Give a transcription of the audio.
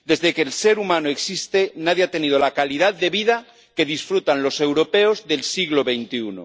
Desde que el ser humano existe, nadie ha tenido la calidad de vida de que disfrutan los europeos del siglo